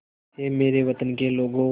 ऐ मेरे वतन के लोगों